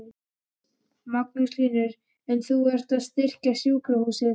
Magnús Hlynur: En þú ert að styrkja sjúkrahúsið?